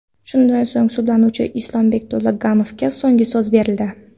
Shundan so‘ng, sudlanuvchi Islombek To‘laganovga so‘nggi so‘z berildi.